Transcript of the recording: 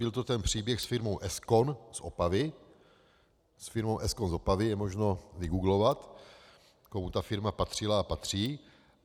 Byl to ten příběh s firmou Eskon z Opavy, je možno vygooglovat, komu ta firma patřila a patří.